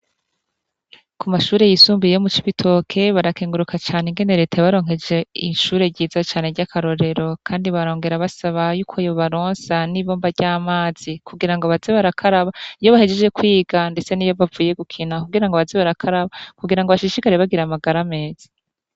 Kumashure yisumbuye yo mucibitoke barakeguruka came ingene reta yabaronkeje ishure ryiza cane ry'akarorero kandi barogera basaba ko yobaronsa n'ibombo ry'amazi kugira ngo baze barakaraba iyo bahejeje kwiga ndetse niyo bavuye gukina kugira baze barakaraba kugira ngo bashishikare bagira amagara meza.